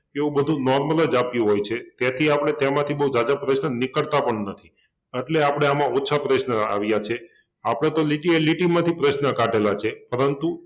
એવુ બધુ normal જ આપ્યુ હોય છે તેથી આપડે તેમાંથી બહુ ઝાઝા પ્રશ્ન નીકળતા પણ નથી એટલે આપડે આમા ઓછા પ્રશ્ન આવિયા છે આપડે તો લિટી એ લિટીમાંથી પ્રશ્ન કાઢેલા છે પરંતુ